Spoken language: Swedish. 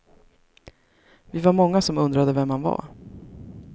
Vi var många som undrade vem han var.